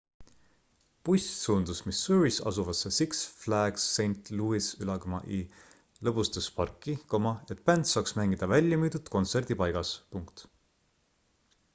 buss suundus missouris asuvasse six flags st louis'i lõbustusparki et bänd saaks mängida väljamüüdud kontserdipaigas